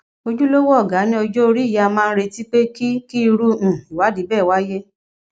ojúlówó ọgá ní ọjọ orí yìí a máa ń retí pé kí kí irú um ìwádìí bẹẹ wáyé